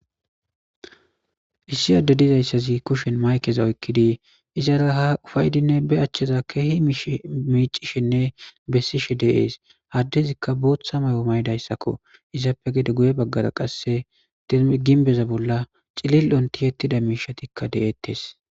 Issi Adey dizaysaz kushen mayikeza oykid izara ha ufa'idinne be acheza Keehi micishenne besishe de'es, ha adezika bootha mayo mayidaysako, izappe gede guye bagara qase gimbeza bolla cilil'on tiyetida mishatika de'etes.